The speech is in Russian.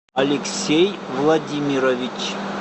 алексей владимирович